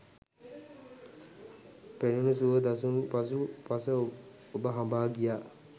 පෙනුණු සුව දසුන් පසු පස ඔබ හඹා ගියා